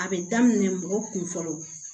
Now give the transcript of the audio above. A bɛ daminɛ mɔgɔ kun fɔlɔ